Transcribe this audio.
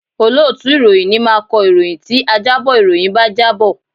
Olóòtú ìròyìn ni máa kọ ìròyìn tí ajábọ̀ ìròyìn bá jábọ̀